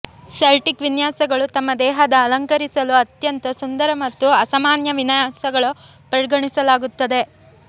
Celtic ವಿನ್ಯಾಸಗಳು ತಮ್ಮ ದೇಹದ ಅಲಂಕರಿಸಲು ಅತ್ಯಂತ ಸುಂದರ ಮತ್ತು ಅಸಾಮಾನ್ಯ ವಿನ್ಯಾಸಗಳು ಪರಿಗಣಿಸಲಾಗುತ್ತದೆ